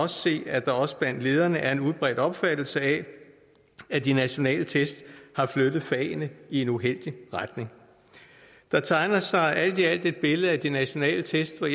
se at der også blandt lederne er en udbredt opfattelse af at de nationale test har flyttet fagene i en uheldig retning der tegner sig alt i alt et billede af de nationale test der